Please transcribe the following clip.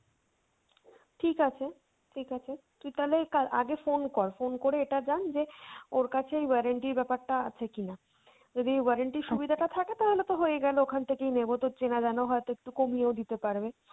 ঠিক আছে, ঠিক আছে তুই তালে কাল আগে phone কর, phone করে এটা জান যে ওর কাছে warranty র ব্যাপার টা আছে কিনা। যদি warranty র সুবিধাটা থাকে তাহলে তো হয়েই গেলো ওখান থেকেই নেবো, তোর চেনা জানা হয়তো একটু কমিয়েও দিতে পারবে।